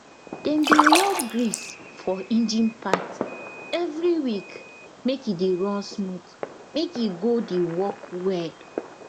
dem dey rub grease for engine part every week make e dey run smooth make e go de work well